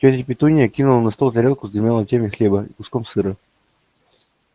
тётя петунья кинула на стол тарелку с двумя ломтями хлеба и куском сыра